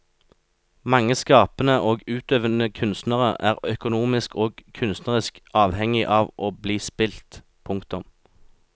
Mange skapende og utøvende kunstnere er økonomisk og kunstnerisk avhengig av å bli spilt. punktum